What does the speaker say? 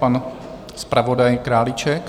Pan zpravodaj Králíček.